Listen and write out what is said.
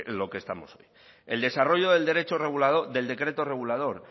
lo que estamos hoy el desarrollo del decreto regulador